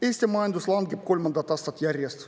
Eesti majandus langeb kolmandat aastat järjest.